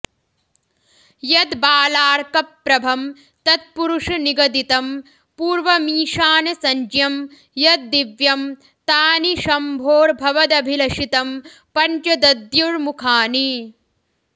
यद्बालार्कप्रभं तत्पुरुषनिगदितं पूर्वमीशानसंज्ञं यद्दिव्यं तानि शम्भोर्भवदभिलषितं पञ्च दद्युर्मुखानि